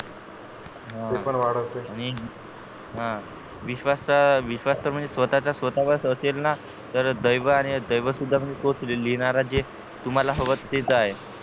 ते पण वाढवते आणि हं विश्वास तर विश्वास तर म्हणजे स्वतः चा स्वतः वरच असेल ना तर दैव आणि दैव म्हणजे तो लिहिणारा तुम्हाला हवं तेच आहे